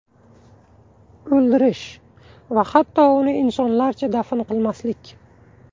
O‘ldirish va hatto uni insonlarcha dafn qilmaslik.